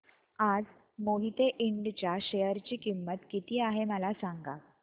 आज मोहिते इंड च्या शेअर ची किंमत किती आहे मला सांगा